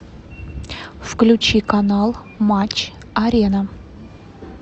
включи канал матч арена